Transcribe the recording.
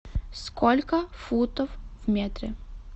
сколько футов в метре